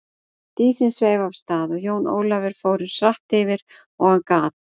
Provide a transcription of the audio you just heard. Dísin sveif af stað og Jón Ólafur fór eins hratt yfir og hann gat.